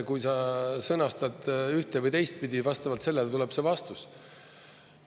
Kui sa sõnastad ühte- või teistpidi, vastavalt sellele tuleb see vastus.